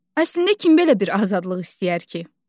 Əslində kim belə bir azadlıq istəyər ki?